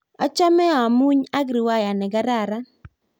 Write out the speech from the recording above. achame amunyii ak riwaya nekararan